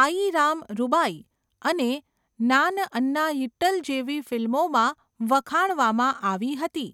આયીરામ રૂબાઈ અને નાન અન્નાયિટ્ટલ જેવી ફિલ્મોમાં વખાણવામાં આવી હતી.